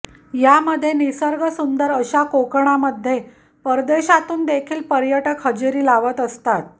यामध्ये निसर्गसुंदर अशा कोकणामध्ये परदेशातून देखील पर्यटक हजेरी लावत असतात